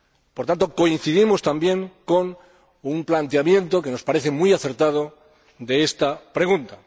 Por tanto, coincidimos también con un planteamiento, que nos parece muy acertado, de esta pregunta.